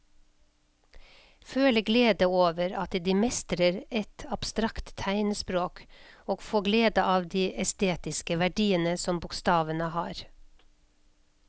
Føle glede over at de mestrer et abstrakt tegnspråk og få glede av de estetiske verdiene som bokstavene har.